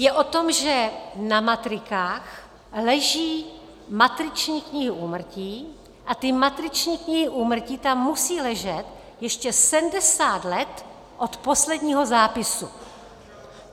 Je o tom, že na matrikách leží matriční knihy úmrtí a ty matriční knihy úmrtí tam musí ležet ještě 70 let od posledního zápisu.